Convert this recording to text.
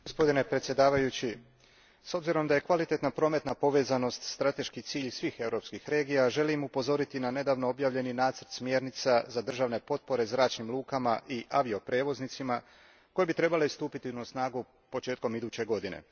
Gospodine predsjedavajući, s obzirom da je kvalitetna prometna povezanost strateški cilj svih europskih regija želim upozoriti na nedavno objavljeni nacrt smjernica za državne potpore zračnim lukama i avioprijevoznicima koje bi trebale stupiti na snagu početkom iduće godine.